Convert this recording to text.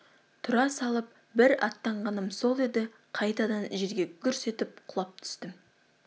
тұра салып бір аттағаным сол еді қайтадан жерге гүрс етіп құлап түстім